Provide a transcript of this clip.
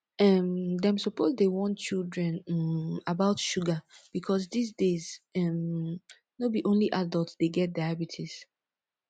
um dem suppose dey warn children um about sugar because dis days um no be only adult dey get diabetes